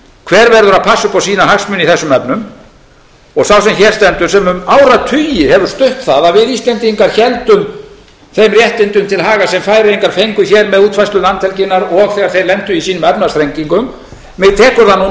hver verður að passa upp á sína hagsmuni í þessum efnum og sá sem hér stendur sem um áratugi hefur stutt það að við íslendingar héldum þeim réttindum til haga sem færeyingar fengu hér með útfærslu landhelginnar og þegar þeir lentu í sínum efnahagsþrengingum mig tekur það